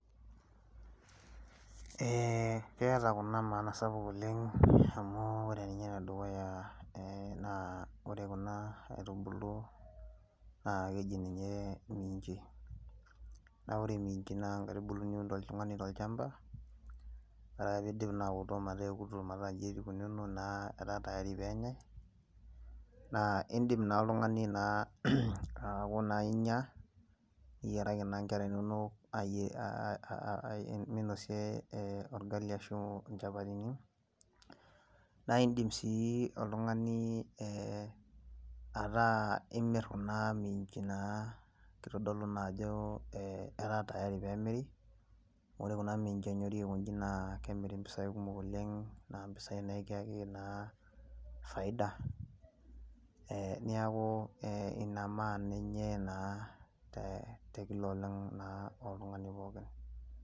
Ee keeta kuna maana sapuk oleng',amu ore ninye enedukuya, naa ore kuna aitubulu naa keji ninje imiinji. Naa ore imiinji naa inkaitubulu niun oltungani tol'chamba.,ore piidip aotok metaa eotok metaa inji ikununo etaa tayari peyanyai naa iidim naa oltungani naa aaku naa inya, niyiaraki naa inkera inono minosie orgali ashu injapatini, naa iidim sii oltungani ataa imir kuna minji naa kitodolu naajo etaa tayari peemiri, ore kuna minji enyori aikonji naa kemiri impisai kumok oleng' naa impisai naa ekiyaki faida, neeku ee ina maana enye naa tekila oltungani naake.